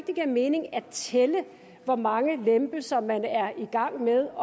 det giver mening at tælle hvor mange lempelser man er i gang med